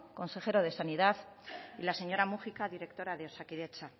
consejero de sanidad y la señora múgica directora de osakidetza